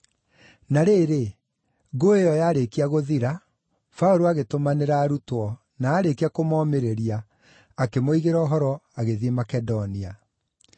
Na rĩrĩ, ngũĩ ĩyo yarĩkia gũthira, Paũlũ agĩtũmanĩra arutwo, na aarĩkia kũmomĩrĩria, akĩmoigĩra ũhoro agĩthiĩ Makedonia.